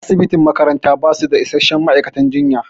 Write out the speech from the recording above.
Asibitin makaranta basu da isasshen ma'aikatan jinya